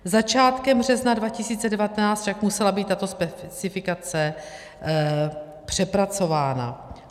Začátkem března 2019 však musela být tato specifikace přepracována.